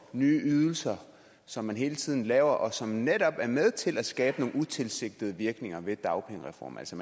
nye ydelser som man hele tiden laver og som netop er med til at skabe nogle utilsigtede virkninger ved dagpengereformen altså